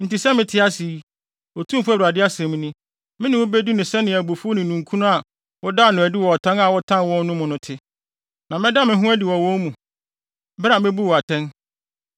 enti sɛ mete ase yi, Otumfo Awurade asɛm ni, me ne wo bedi no sɛnea abufuw ne ninkunu a wodaa no adi wɔ ɔtan a wotan wɔn no mu no te, na mɛda me ho adi wɔ wɔn mu, bere a mebu wo atɛn.